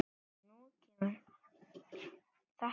Og nú kemur þetta.